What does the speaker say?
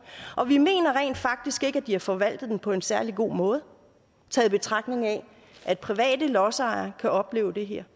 og vi mener rent faktisk ikke at de har forvaltet den på en særlig god måde i betragtning af at private lodsejere kan opleve det her